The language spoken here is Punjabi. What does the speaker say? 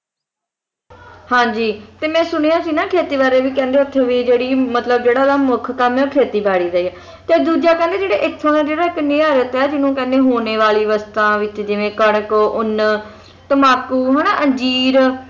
ਹਾਂ ਜੀ ਤੇ ਮੈਂ ਸੁਣਿਆ ਸੀ ਨਾ ਖੇਤੀ ਬਾਰੇ ਵੀ ਕਹਿੰਦੇ ਉੱਥੇ ਵੀ ਜਿਹੜੀ ਮਤਲਬ ਜਿਹੜਾ ਉਨ੍ਹਾਂ ਦਾ ਮੁੱਖ ਕੰਮ ਹੈ ਉਹ ਖੇਤੀਬਾੜੀ ਦਾ ਹੀ ਹੈ ਤੇ ਦੂਜਾ ਕਹਿੰਦੇ ਜਿਹੜੀ ਇੱਥੋਂ ਦਾ ਜਿਹੜਾ ਕਿੰਨੀਆਂ ਰੁੱਤਾਂ ਹੈ ਜਿਸਨੂੰ ਕਹਿੰਦੇ ਨੇ ਮੋਨੇ ਵਾਲੀ ਰੁੱਤਾਂ ਵਿੱਚ ਜਿਵੇਂ ਕਣਕ ਉੱਨ ਤੰਬਾਕੂ ਹੈ ਨਾ ਅੰਜੀਰ